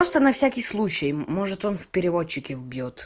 просто на всякий случай может он в переводчике вбъёт